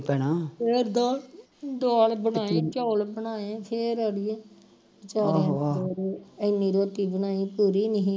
ਦਾਲ ਦਾਲ ਬਣਾਈ ਚੋਲ ਬਣਾਏ ਫਿਰ ਅੜੀਏ ਇੰਨੀ ਰੋਟੀ ਬਣਾਈ ਪੂਰੀ ਨਹੀਂ